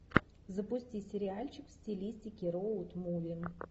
запусти сериальчик в стилистике роуд муви